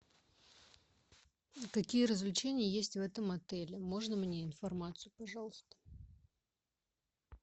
какие развлечения есть в этом отеле можно мне информацию пожалуйста